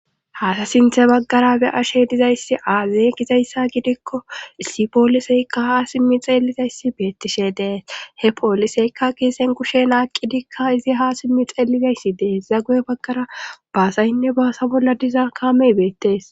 Haasa sinthe baggara be ashe dizayssi aazey gizayssa gidikko issi pooliseykka ha simmi xeelizayssi beettishe dees he pooliseykka keesen kushe aaqqidikka izi ha simmi xeelizayssi dees zagoe baggara baasayinne baasa bolla diza kaamey beettees.